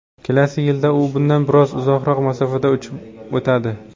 Kelasi yilda u bundan biroz uzoqroq masofada uchib o‘tadi.